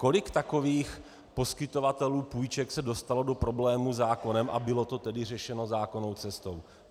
Kolik takových poskytovatelů půjček se dostalo do problémů se zákonem, a bylo to tedy řešeno zákonnou cestou?